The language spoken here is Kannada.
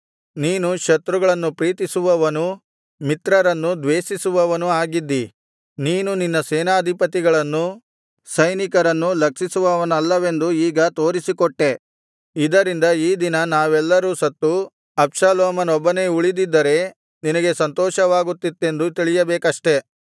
ನೀನು ಶತ್ರುಗಳನ್ನು ಪ್ರೀತಿಸುವವನೂ ಮಿತ್ರರನ್ನು ದ್ವೇಷಿಸುವವನೂ ಆಗಿದ್ದೀ ನೀನು ನಿನ್ನ ಸೇನಾಧಿಪತಿಗಳನ್ನೂ ಸೈನಿಕರನ್ನೂ ಲಕ್ಷಿಸುವವನಲ್ಲವೆಂದು ಈಗ ತೋರಿಸಿಕೊಟ್ಟೆ ಇದರಿಂದ ಈ ದಿನ ನಾವೆಲ್ಲರೂ ಸತ್ತು ಅಬ್ಷಾಲೋಮನೊಬ್ಬನೆ ಉಳಿದಿದ್ದರೆ ನಿನಗೆ ಸಂತೋಷವಾಗುತ್ತಿತ್ತೆಂದು ತಿಳಿಯಬೇಕಷ್ಟೆ